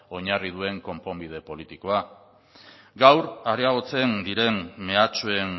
oinarri duen konponbide politikoa gaur areagotzen diren mehatxuen